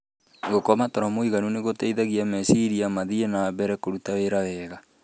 Gũkoma toro mũiganu nĩ gũteithagia meciria mathiĩ na mbere kũruta wĩra wega.